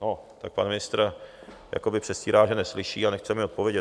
No tak pan ministr jakoby předstírá, že neslyší, a nechce mi odpovědět.